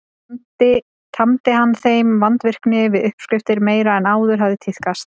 Tamdi hann þeim vandvirkni við uppskriftir meiri en áður hafði tíðkast.